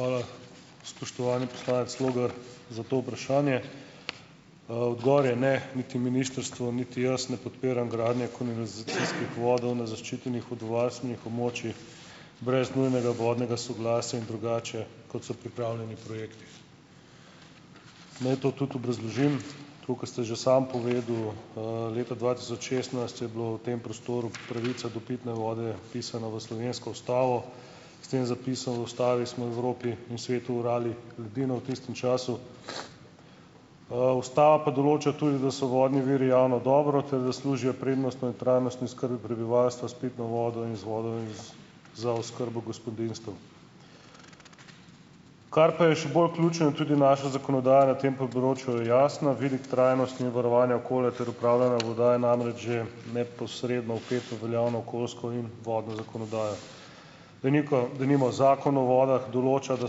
Hvala, spoštovani poslanec Logar, za to vprašanje. Odgovor je ne, niti ministrstvo niti jaz ne podpiram gradnje kanalizacijskih vodov na zaščitenih vodovarstvenih območjih brez nujnega vodnega soglasja in drugače, kot so pripravljeni projekti. Naj to tudi obrazložim. Tako kot ste že sam povedal - leta dva tisoč šestnajst je bila v tem prostoru pravica do pitne vode vpisana v slovensko ustavo. S tem zapisom v ustavi smo v Evropi in svetu orali ledino v tistem času. Ustava pa določa tudi, da so vodni viri javno dobro ter da služijo prednostno in trajnostni skrbi prebivalstva s pitno vodo in z vodami z za oskrbo gospodinjstev. Kar pa je še bolj ključen in tudi naša zakonodaja na tem področju je jasna. Vidik trajnosti in varovanja okolja ter upravljanja voda je namreč že neposredno vpet v veljavno okoljsko in vodno zakonodajo. Deniko Denimo Zakon o vodah določa, da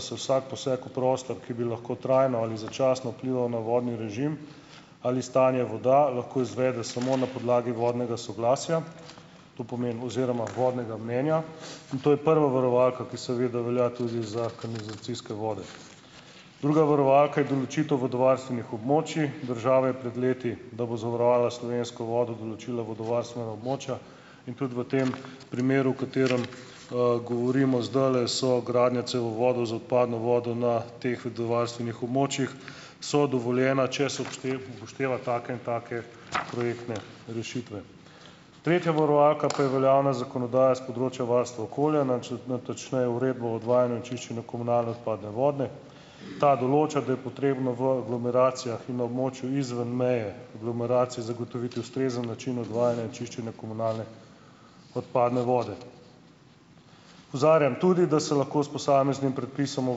se vsak poseg v prostor, ki bi lahko trajno ali začasno vplival na vodni režim ali stanje voda, lahko izvede samo na podlagi vodnega soglasja, to pomeni oziroma vodnega mnenja, in to je prva varovalka, ki seveda velja tudi za kanalizacijske vode. Druga varovalka je določitev vodovarstvenih območij. Država je pred leti, da bo zavarovala slovensko vodo določila vodovarstvena območja in tudi v tem primeru, v katerem, govorimo zdajle, so gradnja cevovodov z odpadno vodo na teh vodovarstvenih območjih so dovoljena, če se upošteva take in take projektne rešitve. Tretja varovalka pa je veljavna zakonodaja s področja varstva okolja, nič natančneje uredba o odvajanju in čiščenju komunalne odpadne vode. Ta določa, da je potrebno v aglomeracijah in na območju izven meje aglomeracije zagotoviti ustrezen način odvajanja in čiščenja komunalne odpadne vode. Opozarjam tudi, da se lahko s posameznim predpisom o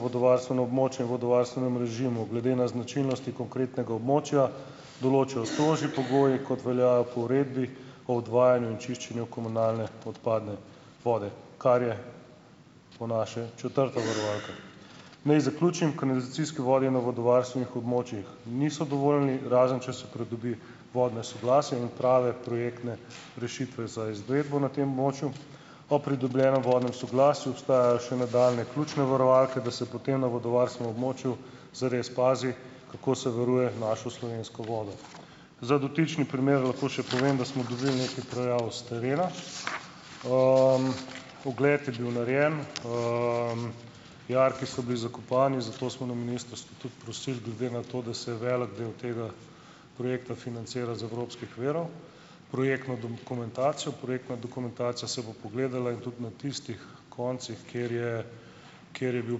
vodovarstvenem območju in vodovarstvenem režimu glede na značilnosti konkretnega območja določajo strožji pogoji, kot veljajo po uredbi o odvajanju in čiščenju komunalne odpadne vode, kar je po naše četrta varovalka. Naj zaključim. Kanalizacijski vodi na vodovarstvenih območjih niso dovoljeni, razen če se pridobi vodno soglasje in prave projektne rešitve za izvedbo na tem območju. Ob pridobljenem vodnem soglasju obstajajo še nadaljnje ključne varovalke, da se potem na vodovarstvenem območju zares pazi, kako se varuje našo slovensko vodo. Za dotični primer lahko še povem, da smo dobili nekaj prijav s terena. Ogled je bil narejen. Jarki so bili zakopani. Zato smo na ministrstvu tudi prosili glede na to, da se je velik del tega projekta financiral iz evropskih virov, projektno donkumentacijo. Projektna dokumentacija se bo pogledala. In tudi na tistih koncih, kjer je, kjer je bila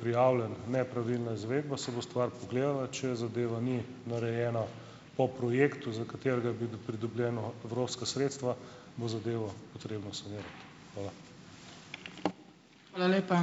prijavljena nepravilna izvedba, se bo stvar pogledala. Če zadeva ni narejena po projektu, za katerega bodo pridobljena evropska sredstva, bo zadevo potrebno sanirati. Hvala.